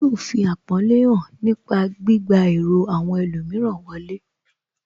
Yóò fi àpọ́nlé hàn nípa gbígba èrò àwọn ẹlòmíràn wọlé